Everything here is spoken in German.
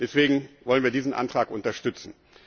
Deswegen wollen wir diesen Antrag unterstützen.